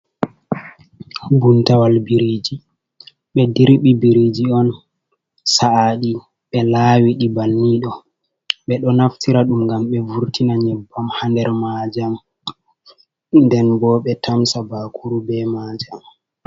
Buuntawal biriji. Be ɗirbi biriji on sa’aɗi, be lawiɗi banni ɗo. Be ɗo naftira ɗum ngam be vurtina nyebbam ha nɗer majam. Nɗen bo be tamsa bakuru be majam.